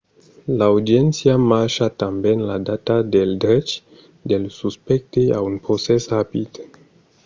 l’audiéncia marca tanben la data del drech del suspècte a un procès rapid